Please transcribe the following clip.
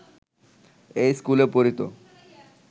এই স্কুলে পড়িত